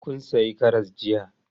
Kun sayi karas jiya?